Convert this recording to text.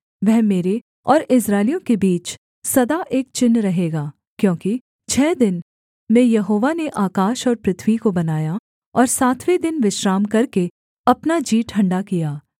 वह मेरे और इस्राएलियों के बीच सदा एक चिन्ह रहेगा क्योंकि छः दिन में यहोवा ने आकाश और पृथ्वी को बनाया और सातवें दिन विश्राम करके अपना जी ठण्डा किया